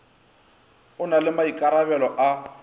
o na le maikarabelo a